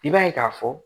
I b'a ye k'a fɔ